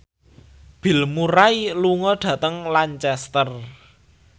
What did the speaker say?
Bill Murray lunga dhateng Lancaster